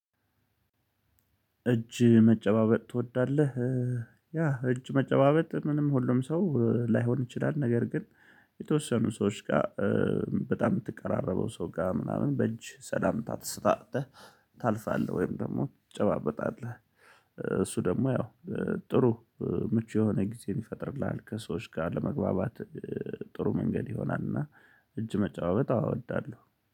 እጅ መጨባበጥ ትወዳለህ? ያ እጅ መጨባበጥ ምንም ሁሉም ሰው ላይሆን ይችላል ነገር ግን የተወሰኑ ሰዎች ጋር በጣም እምትቀራረበው ሰው ጋ ምናምን በእጅ ሰላምታ ተሰጣተህ ታልፋለህ ወይም ደግሞ ትጨባበጣለህ። እሱ ደግሞ ያው ጥሩ ምቹ የሆነ ጊዜን ይፈጥርልሃል ከሰዎች ጋር ለመግባባት። ጥሩ መንገድ ይሆናልና። እጅ መጨባበጥ አዎ እወዳለሁ